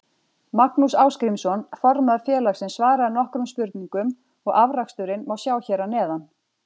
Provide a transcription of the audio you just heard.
Magnús Ásgrímsson formaður félagsins svaraði nokkrum spurningum og afraksturinn má sjá hér að neðan.